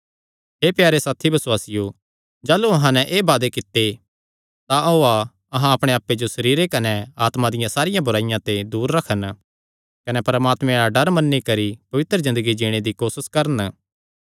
हे प्यारे साथी बसुआसियो जाह़लू अहां नैं एह़ वादे कित्ते तां ओआ अहां अपणे आप्पे जो सरीर कने आत्मा दिया सारी बुराईया ते दूर रखन कने परमात्मे दा डर मन्नी करी पवित्र ज़िन्दगी जीणे दी कोसस करन